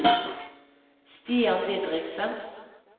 Stian Didriksen